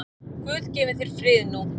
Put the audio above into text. Guð gefi þér frið nú.